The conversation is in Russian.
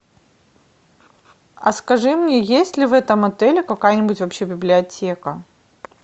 а скажи мне есть ли в этом отеле какая нибудь вообще библиотека